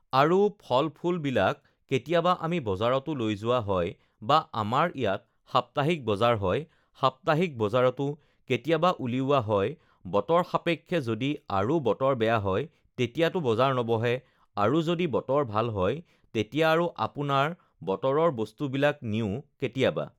আৰু ফল-ফুলবিলাক কেতিয়াবা আমি বজাৰতো লৈ যোৱা হয় বা আমাৰ ইয়াত সপ্তাহিক বজাৰ হয় সপ্তাহিক বজাৰতো কেতিয়াবা উলিওয়া হয় বতৰ সাপেক্ষে যদি আৰু বতৰ বেয়া হয় তেতিয়াতো বজাৰ নবহে আৰু যদি বতৰ ভাল হয় তেতিয়া আৰু আপোনাৰ বতৰৰ বস্তুবিলাক নিও কেতিয়াবা